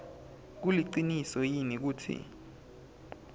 kuliciniso yini kutsi